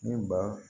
Ni ba